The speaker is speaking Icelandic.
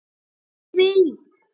Hver veit?